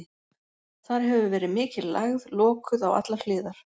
Þar hefur verið mikil lægð, lokuð á allar hliðar.